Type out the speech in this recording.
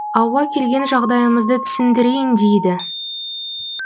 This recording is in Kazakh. ауа келген жағдайымызды түсіндірейін дейді